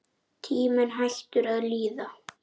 Tíminn hættur að líða.